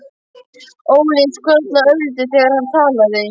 Óli skrollaði örlítið þegar hann talaði.